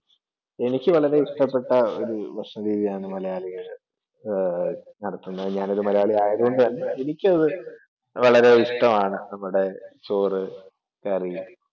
എനിക്ക് വളരെ ഇഷ്ടപ്പെട്ട ഒരു ഭക്ഷണ രീതിയാണ് മലയാളിയുടേത്, ഞാൻ ഒരു മലയാളി ആയതു കൊണ്ട് തന്നെ എനിക്കതു വളരെ ഇഷ്ടമാണ് നമ്മുടെ ചോറ് കറി